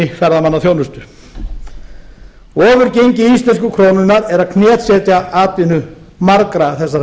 ferðamannaþjónustu ofurgengi íslensku krónunnar er að knésetja atvinnu margra þessara